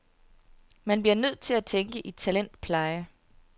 Man bliver nødt til at tænke i talentpleje.